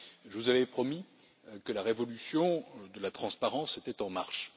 Je vous avais promis que la révolution de la transparence était en marche.